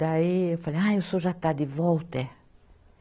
Daí eu falei, ah, o senhor já está de volta, é?